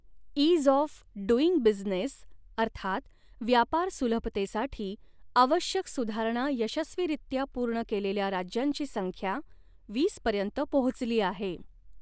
Ease of doing business अर्थात व्यापार सुलभतेसाठी आवश्यक सुधारणा यशस्वीरित्या पूर्ण केलेल्या राज्यांची संख्या वीसपर्यंत पोहोचली आहे.